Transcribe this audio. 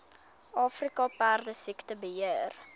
afrika perdesiekte beheer